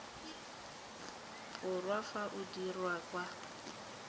borwa fa o dirwa kwa